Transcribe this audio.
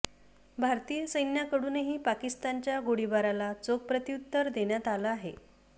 भारतीय सैन्याकडूनही पाकिस्तानच्या गोळीबाराला चोख प्रत्यूत्तर देण्यात आलं आहे